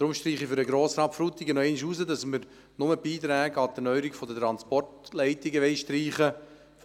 Deshalb hebe ich für Grossrat Frutiger noch einmal hervor, dass wir lediglich die Beiträge an die Erneuerung von Transportleitungen streichen wollen;